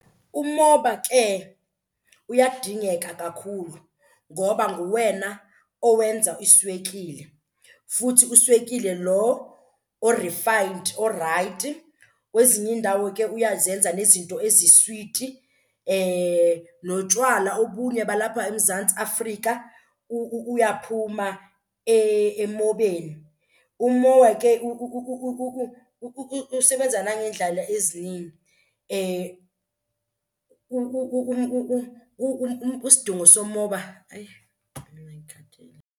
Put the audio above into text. Umoba ke uyadingeka kakhulu ngoba nguwena owenza iswekile futhi uswekile lo o-refined orayithi. Kwezinye iindawo ke uyazenza nezinto eziswiti, notywala obunye balapha eMzantsi Afrika uyaphuma emobeni. Umoba ke usebenza nangeendlela ezininzi, isidingo somoba. Hayi mina ngikhathele.